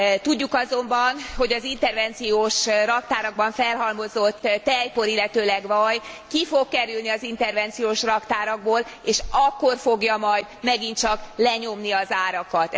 Tudjuk azonban, hogy az intervenciós raktárakban felhalmozott tejpor, illetőleg vaj, ki fog kerülni az intervenciós raktárakból és akkor fogja majd megint csak lenyomni az árakat.